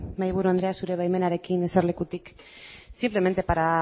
mahaiburu andrea zure baimenarekin eserlekutik simplemente para